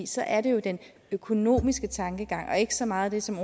så er det jo den økonomiske tankegang og ikke så meget det som